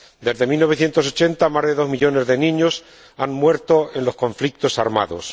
desde 1980, más de dos millones de niños han muerto en los conflictos armados